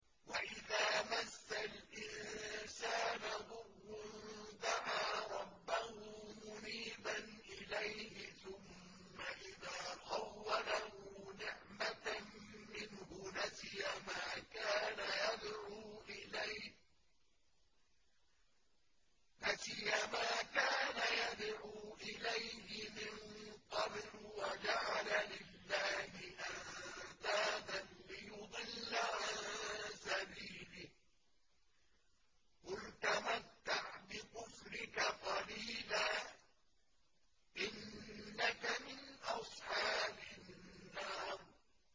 ۞ وَإِذَا مَسَّ الْإِنسَانَ ضُرٌّ دَعَا رَبَّهُ مُنِيبًا إِلَيْهِ ثُمَّ إِذَا خَوَّلَهُ نِعْمَةً مِّنْهُ نَسِيَ مَا كَانَ يَدْعُو إِلَيْهِ مِن قَبْلُ وَجَعَلَ لِلَّهِ أَندَادًا لِّيُضِلَّ عَن سَبِيلِهِ ۚ قُلْ تَمَتَّعْ بِكُفْرِكَ قَلِيلًا ۖ إِنَّكَ مِنْ أَصْحَابِ النَّارِ